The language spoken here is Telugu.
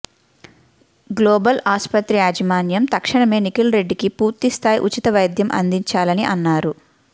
గ్లోబల్ ఆస్పత్రి యాజమాన్యం తక్షణమే నిఖిల్రెడ్డికి పూర్తిస్థాయి ఉచిత వైద్యం అందించాలని అన్నారు